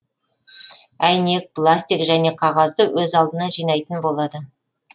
әйнек пластик және қағазды өз алдына жинайтын болады